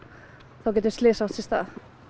þá geta slys átt sér stað